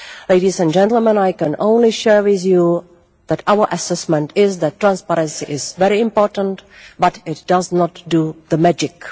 Ladies and gentlemen, I can only share with you that our assessment is that transparency is very important but it does not do magic.